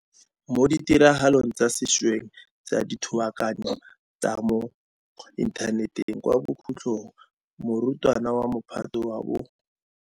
Mo ditiragalong tsa sešweng tsa dithogakano tsa mo intha neteng kwa bokhutlong morutwana wa Mophato wa bo.